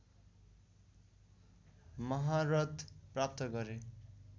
महारत प्राप्त गरे